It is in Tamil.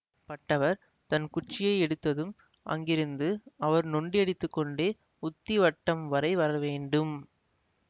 பட்டவர் தன் குச்சியை எடுத்ததும் அங்கிருந்து அவர் நொண்டி அடித்துக்கொண்டே உத்திவட்டம் வரை வரவேண்டும்